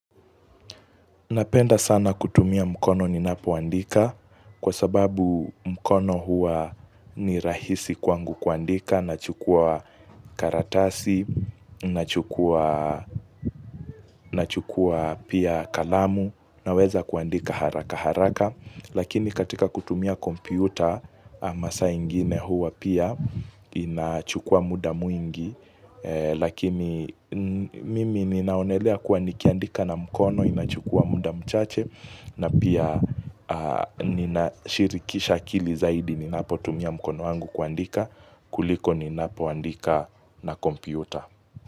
Napenda sana kutumia mkono ninapoandika kwa sababu mkono huwa ni rahisi kwangu kuandika nachukua karatasi nachukua pia kalamu naweza kuandika haraka haraka. Lakini katika kutumia kompyuta masaa ingine huwa pia inachukua muda mwingi Lakini mimi ninaonelea kuandikiandika na mkono inachukua muda mchache na pia nina shirikisha akili zaidi ninapotumia mkono wangu kuandika kuliko ninapoandika na kompiuta.